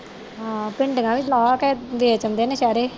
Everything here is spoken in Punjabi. ਹਾਂ ਭਿੰਡੀਆਂ ਵੀ ਲਾ ਕੇ ਦੇ ਦਿੰਦੇ ਨੇ ਸਾਰੇ